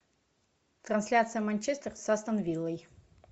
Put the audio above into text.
трансляция манчестер с астон виллой